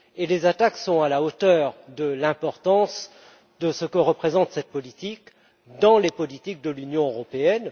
Les attaques sont à la hauteur de l'importance que revêt cette politique dans les politiques de l'Union européenne.